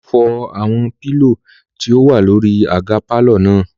Olú fọ́ àwọn pílò tí ó wà lórí àga pàlọ́ náà